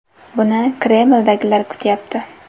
Buni Kremldagilar kutyapti.